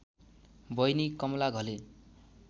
बहिनी कमला घले